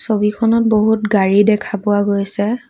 ছবিখনত বহুত গাড়ী দেখা পোৱা গৈছে।